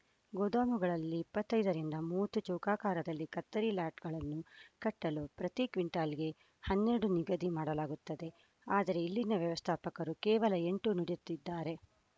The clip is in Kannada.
ಗೋದಾಮುಗಳಲ್ಲಿ ಇಪ್ಪತ್ತ್ ಐದರಿಂದ ಮೂವತ್ತು ಚೌಕಾಕಾರದಲ್ಲಿ ಕತ್ತರಿ ಲಾಟ್‌ಗಳನ್ನು ಕಟ್ಟಲು ಪ್ರತಿ ಕ್ವಿಂಟಲ್‌ಗೆ ಹನ್ನೆರಡು ನಿಗದಿ ಮಾಡಬೇಕಾಗುತ್ತದೆ ಆದರೆ ಇಲ್ಲಿನ ವ್ಯವಸ್ಥಾಪಕರು ಕೇವಲ ಎಂಟು ನೀಡುತ್ತಿದ್ದಾರೆ